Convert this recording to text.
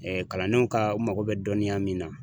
kalandenw ka u mago bɛ dɔnniya min na